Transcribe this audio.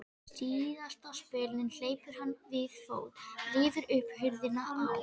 Síðasta spölinn hleypur hann við fót, rífur upp hurðina á